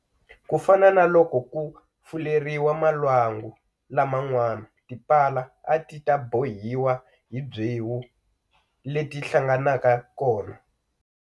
Ku fana na loko ku fuleriwa malwangu laman'wana tipala a ti ta bohiwa hi byewu leti hlanganaka kona.